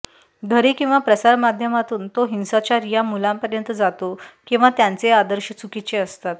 घरी किंवा प्रसारमाघ्यमातून तो हिंसाचार ह्या मुलांपर्यंत जातो किंवा त्यांचे आदर्श चुकीचे असतात